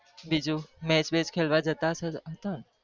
બીજું Mac bach ખેલવા જતા હસો ક